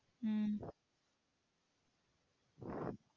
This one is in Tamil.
உம்